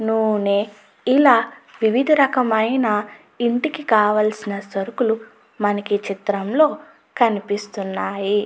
నూనె ఇలా వివిధ రకాలైన ఇంటికావలసిన సరుకులు మనకి ఈ చిత్రంలో కనిపిస్తున్నాయి.